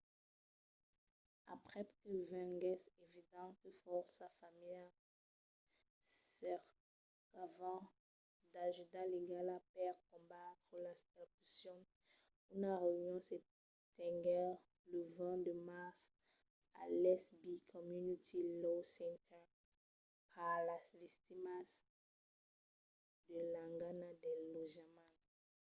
aprèp que venguèsse evident que fòrça familhas cercavan d’ajuda legala per combatre las expulsions una reünion se tenguèt lo 20 de març a l’east bay community law center per las victimas de l'engana del lotjament